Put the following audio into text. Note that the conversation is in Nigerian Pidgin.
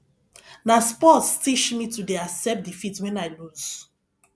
na sports teach me to dey accept defeat wen i loose